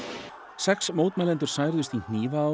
sex mótmælendur særðust í